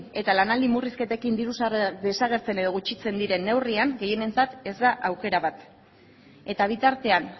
eta lanaldi murrizketekin diru sarrerak desagertzen edo gutxitzen diren neurrian gehienentzat ez da aukera bat eta bitartean